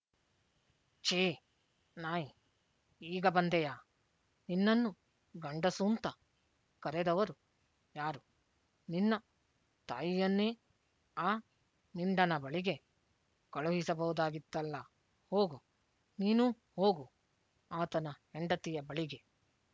ಛಿ ನಾಯಿ ಈಗ ಬಂದೆಯಾ ನಿನ್ನನ್ನು ಗಂಡಸೂಂತ ಕರೆದವರು ಯಾರು ನಿನ್ನ ತಾಯಿಯನ್ನೇ ಆ ಮಿಂಡನ ಬಳಿಗೆ ಕಳುಹಿಸಬಹುದಾಗಿತ್ತಲ್ಲ ಹೋಗು ನೀನೂ ಹೋಗು ಆತನ ಹೆಂಡತಿಯ ಬಳಿಗೆ